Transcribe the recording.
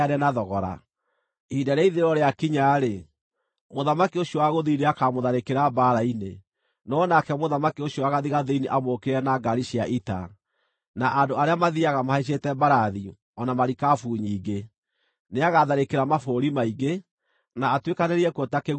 “Ihinda rĩa ithirĩro rĩakinya-rĩ, mũthamaki ũcio wa gũthini nĩakamũtharĩkĩra mbaara-inĩ, no nake mũthamaki ũcio wa gathigathini amũũkĩrĩre na ngaari cia ita, na andũ arĩa mathiiaga mahaicĩte mbarathi, o na marikabu nyingĩ. Nĩagatharĩkĩra mabũrũri maingĩ, na atuĩkanĩrie kuo ta kĩguũ kĩa maaĩ.